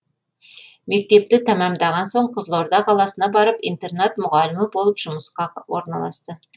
мектепті тәмамдаған соң қызылорда қаласына барып интернат мұғалімі болып жұмысқа орналасты